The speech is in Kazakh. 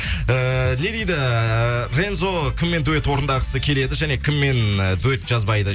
эээ не дейді э рензо кіммен дуэт орындағысы келеді және кіммен дуэт жазбайды